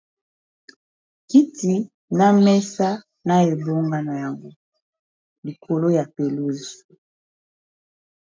Kiti na mesa na ebonga na yango likolo ya pelouse.